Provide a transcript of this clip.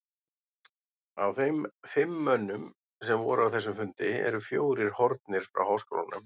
Af þeim fimm mönnum, sem voru á þessum fundi, eru fjórir horfnir frá háskólanum.